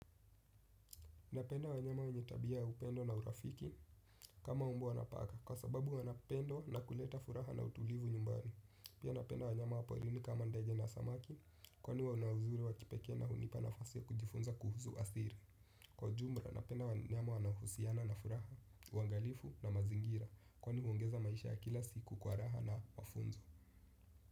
Napenda wanyama wanye tabia ya upendo na urafiki kama umbwa na paka, kwa sababu wanapendo na kuleta furaha na utulivu nyumbani. Pia napenda wanyama wa porini kama ndenge na samaki kwani wana uzuri wa kipekee na hunipa nafasi ya kujifunza kuhusu athiri. Kwa jumla napenda wanyama wanaohusiana na furaha, uangalifu na mazingira kwani huongeza maisha ya kila siku kwa raha na mafunzo.